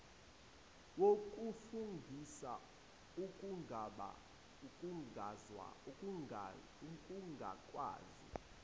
wokufungisa ekungabaza ukungakwazi